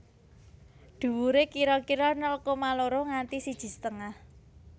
Dhuwuré kira kira nol koma loro nganti siji setengah